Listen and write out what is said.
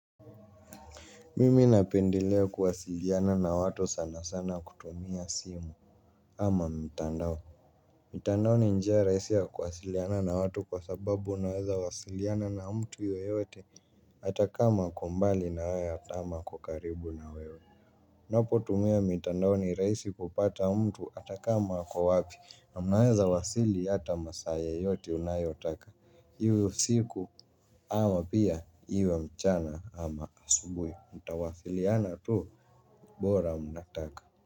Mimi napendelea kuwasiliana na watu sana sana kutumia simu ama mtandao. Mitandao ni njia rahisi ya kuwasiliana na watu kwa sababu unaweza wasiliana na mtu yeyote hata kama ako mbali na wewe ama ako karibu na wewe. Unapotumia mitandao ni rahisi kupata mtu hata kama ako wapi. Na mnaweza wasili hata masaa yoyote unayotaka. Iwe usiku ama pia iwe mchana ama asubuhi mtawasiliana tu bora mnataka.